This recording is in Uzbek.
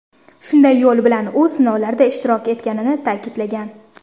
Shunday yo‘l bilan u sinovlarda ishtirok etganini ta’kidlagan.